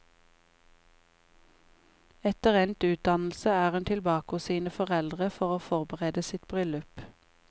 Etter endt utdannelse er hun tilbake hos sine foreldre for å forberede sitt bryllup.